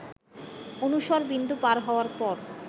অনুসর বিন্দু পার হওয়ার পর